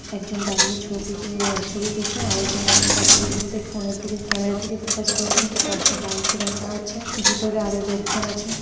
একজন দাঁড়িয়ে ছবি তো ছবি তুলছে। আরেকজন ফোন -এ কথা বলতে বলতে ফোন -এ দিকে ক্যামেরা দিকে ফোকাস করেছেন নাকি পাশে বাইক এ রাখা আছে ভিতরে আরো লোকজন আছে।